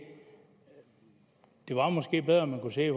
det var måske bedre at man kunne se